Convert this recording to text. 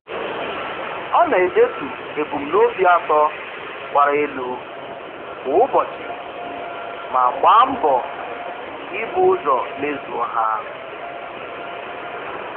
Ọ na-edetu ebumnobi atọ gbara elu kwa ụbọchị ma gba mbọ ị bu ụzọ mezuo ha.